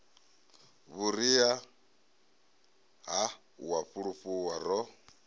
vhuria ha u fulufhuwa ro